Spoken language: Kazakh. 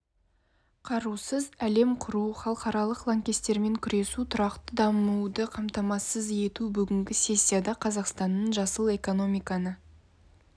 қарусыз әлем құру халықаралық лаңкестікпен күресу тұрақты дамуды қамтамасыз ету бүгінгі сессияда қазақстанның жасыл экономиканы